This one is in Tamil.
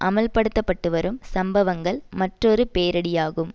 அம்பலப்படுத்த பட்டு வரும் சம்பவங்கள் மற்றொரு பேரிடியாகும்